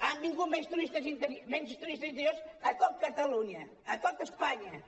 han vingut menys turistes interiors a tot catalunya i a tot espanya